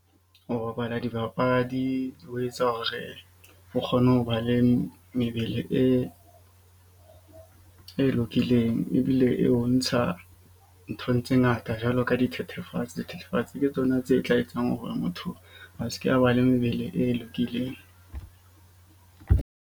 Ho bapala dibapadi ho etsa hore o kgone ho ba le mebele e lokileng. Ebile e o ntsha nthong tse ngata. Jwalo ka dithethefatsi, dithethefatsi ke tsona tse tla etsang hore motho a ske a ba le mebele e lokileng.